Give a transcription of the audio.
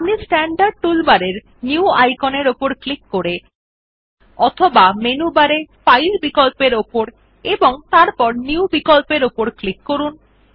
আপনি স্ট্যান্ডার্ড টুলবারের নিউ আইকনের উপর ক্লিক করে অথবা মেনু বারে ফাইল বিকল্প উপর এবং তারপর নিউ বিকল্পর উপর করুন